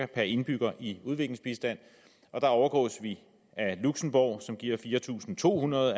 per indbygger i udviklingsbistand og der overgås vi af luxembourg som giver fire tusind to hundrede